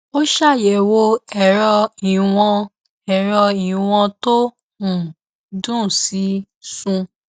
ó ṣàyẹwo èrọ ìwọn èrọ ìwọn tó um dùn sí sùn